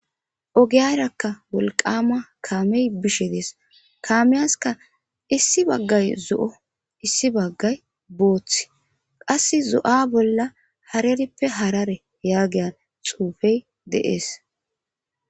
ogeyarakka wolqama kaamey bishe dees kaameyaska issi baggay zo7o issi baggay boothth qass zo7a bolla harerippe harare yaagiyan xuufey deees